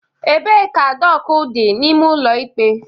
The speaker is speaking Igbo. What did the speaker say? Ebee ka doku dị n'ime ụlọ ikpe?